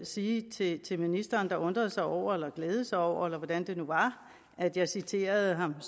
sige til til ministeren der undrede sig over eller glædede sig over eller hvordan det nu var at jeg citerede ham